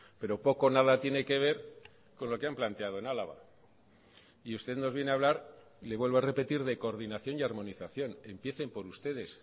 pero poco o nada tiene que ver con lo que han planteado en álava y usted nos viene a hablar le vuelvo a repetir de coordinación y armonización empiecen por ustedes